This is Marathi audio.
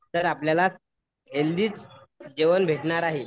तर आपल्याला हेल्थीचं जेवण भेटणार आहे.